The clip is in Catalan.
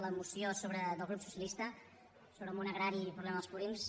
la moció del grup socialista sobre el món agrari i el problema dels purins